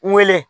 N weele